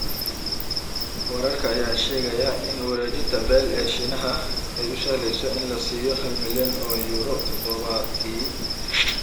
Wararka ayaa sheegaya in u wareejinta Bale ee Shiinaha ay u sahleyso in la siiyo hal milyan oo Yuuro todobaadkii.